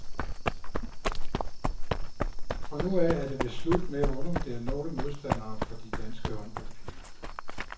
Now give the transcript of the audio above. Fra nu af er det vist slut med at undervurdere nogle modstandere for de danske håndboldpiger.